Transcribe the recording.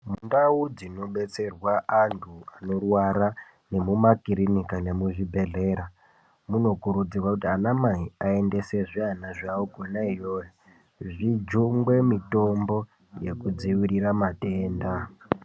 Ndau dzinobetserwa antu anorwara nemumakirinika nemuzvibhedhlera munokurudzirwa kuti anamai aendese zviana zvavo kona iyoyo, zvijungwe mitombo yekudzivirira matenda.